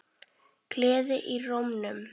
Gleði í rómnum.